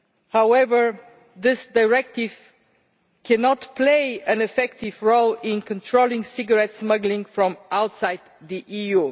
However, this Directive cannot play an effective role in controlling cigarette smuggling from outside the EU.